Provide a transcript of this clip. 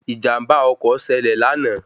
Ìjàm̀bá ọkọ̀ ṣẹlẹ̀ lánàá